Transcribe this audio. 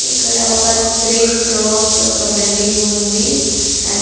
ఇక్కడ ఒక three floors ఒక బిల్డింగ్ ఉంది. అద్--